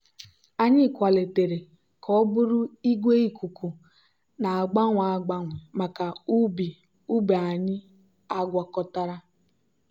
anyị kwalitere ka ọ bụrụ igwe ikuku na-agbanwe agbanwe maka ubi ubi anyị agwakọtara.